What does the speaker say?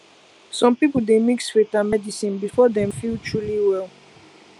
some people dey mix faith and medicine before dem feel truly well